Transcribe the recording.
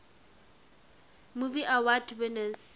movie award winners